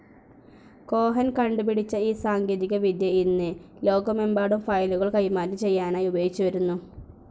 Cohen കണ്ടുപിടിച്ച ഈ സാങ്കേതികവിദ്യ ഇന്ന് ലോകമെമ്പാടും ഫയലുകൾ കൈമാറ്റം ചെയ്യാനായി ഉപയോഗിച്ച് വരുന്നു.